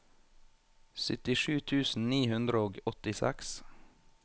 syttisju tusen ni hundre og åttiseks